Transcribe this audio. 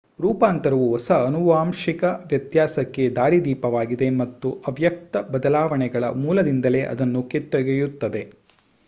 ರೂಪಾಂತರವು ಹೊಸ ಆನುವಾಂಶಿಕ ವ್ಯತ್ಯಾಸಕ್ಕೆ ದಾರಿದೀಪವಾಗಿದೆ ಮತ್ತು ಅವ್ಯಕ್ತ ಬದಲಾವಣೆಗಳ ಮೂಲದಿಂದಲೇ ಅದನ್ನು ಕಿತ್ತೊಗೆಯುತ್ತದೆ